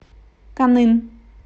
каннын